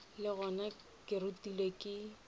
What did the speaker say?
le gona ke rutegile ke